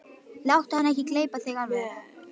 Láttu hann ekki gleypa þig alveg!